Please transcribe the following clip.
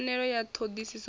pfanelo ya ṱho ḓisiso i